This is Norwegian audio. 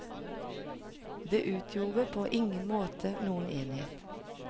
Det utgjorde på ingen måte noen enhet.